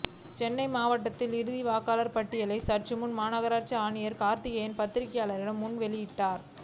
சென்னை மாவட்டத்தின் இறுதி வாக்காளர் பட்டியலை சற்றுமுன் மாநகராட்சி ஆணையர் கார்த்திகேயன் பத்திரிகையாளர் முன் வெளியிட்டார்